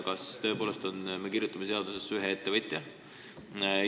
Kas me tõepoolest kirjutame seadusesse ühe ettevõtja?